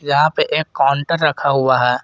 जहां पे एक काउंटर रखा हुआ है।